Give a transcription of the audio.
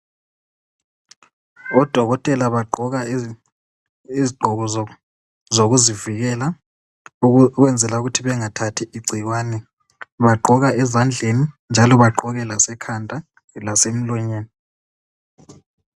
Odokotela bagqoka izigqoko zokuzivikela ukwenzela ukuthi bengathathi igcikwane bagqoka ezandleni njalo bagqoke lasekhanda lasemlonyeni.